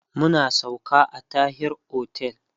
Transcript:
mun sauka a Tahir otel